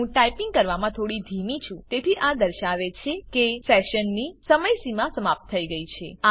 હું ટાઈપીંગ કરવામાં થોડી ધીમી છું તેથી આ દર્શાવે છે કે સેશનની સમયસીમા સમાપ્ત થઈ ગઈ છે